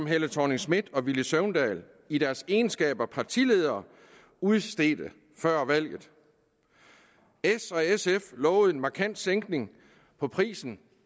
helle thorning schmidt og herre villy søvndal i deres egenskab af partiledere udstedte før valget s og sf lovede en markant sænkning af prisen